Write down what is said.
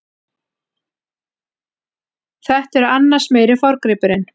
Þetta er annars meiri forngripurinn.